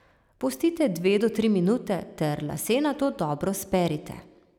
Pustite dve do tri minute ter lase nato dobro sperite.